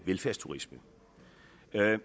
velfærdsturisme